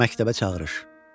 Məktəbə çağırış.